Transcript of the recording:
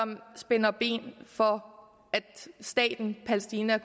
spænder ben for at staten palæstina